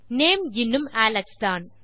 name இன்னும் Alex தான்